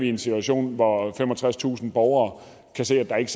i en situation hvor femogtredstusind borgere kan se at der ikke